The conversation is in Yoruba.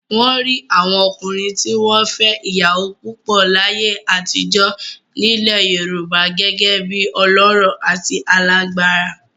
Wọ́n rí àwọn ọkùnrin tí wọ́n fẹ́ ìyàwó púpọ̀ láyé àtijọ́ nílẹ̀ Yorùbá gẹ́gẹ́ bí ọlọ́rọ̀ àti alágbára.